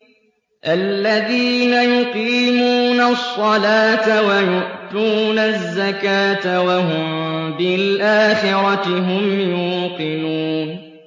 الَّذِينَ يُقِيمُونَ الصَّلَاةَ وَيُؤْتُونَ الزَّكَاةَ وَهُم بِالْآخِرَةِ هُمْ يُوقِنُونَ